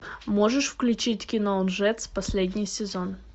можешь включить кино лжец последний сезон